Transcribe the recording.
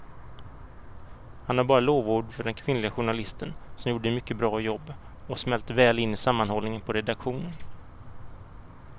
Han har bara lovord för den kvinnliga journalisten som gjorde ett mycket bra jobb och smälte väl in i sammanhållningen på redaktionen.